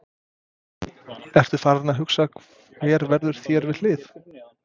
Ertu farinn að hugsa hver verður þér við hlið?